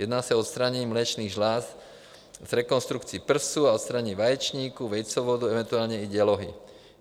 Jedná se o odstranění mléčných žláz s rekonstrukcí prsů a odstranění vaječníků, vejcovodů eventuálně i dělohy.